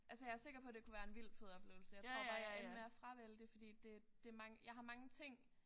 Altså jeg sikker på det kunne være en vildt fed oplevelse jeg tror bare jeg endte med at fravælge det fordi det det jeg har mange ting